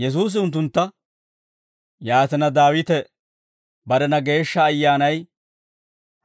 Yesuusi unttuntta, «Yaatina, Daawite barena Geeshsha Ayyaanay